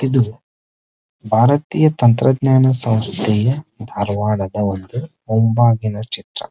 ಇದು ಭಾರತೀಯ ತಂತ್ರಜ್ಞಾನ ಸಂಸ್ಥೆಯ ಧಾರವಾಡದ ಒಂದು ಮುಂಬಾಗಿಲ ಚಿತ್ರ --